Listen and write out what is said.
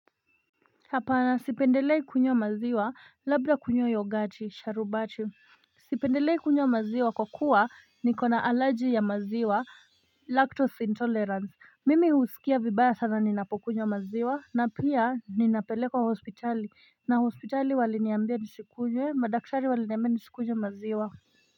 Hapa nasipendelei kunywa maziwa labda kunywa yogati sharubati sipendelei kunywa maziwa kwa kuwa niko na alaji ya maziwa lactose intolerance mimi usikia vibaya sana ninapokunywa maziwa na pia ninapelekwa hospitali na hospitali waliniambia nisikunywe madaktari waliniambia nisikunywe maziwa.